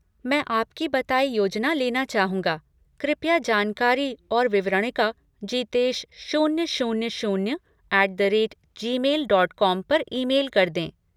मैं आपकी बताई योजना लेना चाहूँगा, कृपया जानकारी और विवरणिका जीतेश शून्य शून्य शून्य at the rate Gmail dot com पर ईमेल कर दें।